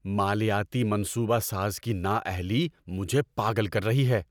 مالیاتی منصوبہ ساز کی نااہلی مجھے پاگل کر رہی ہے!